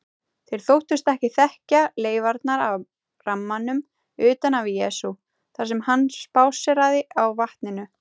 Þeir þóttust þekkja leifarnar af rammanum utan af Jesú þar sem hann spásséraði á vatninu.